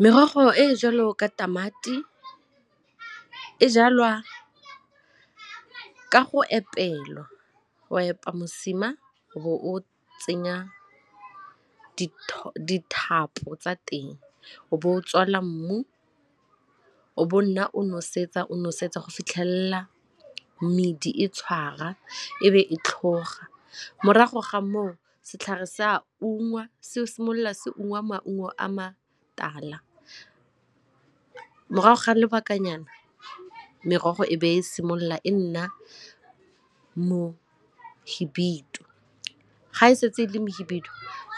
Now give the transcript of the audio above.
Merogo e e jalo ka tamati e jalwa ka go go epa mosima o bo o tsenya dithapo tsa teng o be o tswalela mmu o bo nna o nosetsa o nosetsa go fitlhelela medi e tshwara e be e tlhoga, morago ga moo setlhare se a ungwa se o simolola se ungwa maungo a matala. Morago ga lobakanyana merogo e be e simolola e nna mohibidu, ga e setse le mohibidu